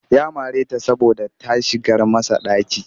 Ya mare ta saboda ta shigar masa ɗaki